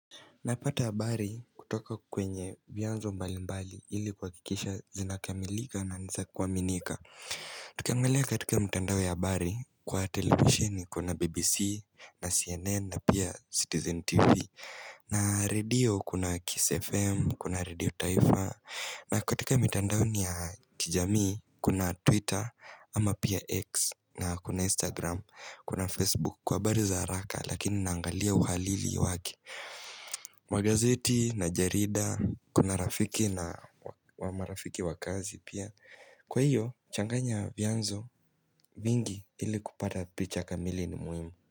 Napata abari kutoka kwenye vyanzo mbali mbali ili kuakikisha zinakamilika na nisa kuwaminika Tukiangalia katika mtandao ya abari kwa televisheni kuna BBC na CNN na pia Citizen TV na radio kuna Kiss FM, kuna radio taifa na katika mitandao ni ya kijamii kuna Twitter ama pia X na kuna Instagram kuna Facebook kwa habari za haraka lakini naangalia uhalili wake Magazeti na jarida, kuna rafiki na wa ma rafiki wakazi pia Kwa hiyo, changanya vyanzo vingi ili kupata picha kamili ni muhimu.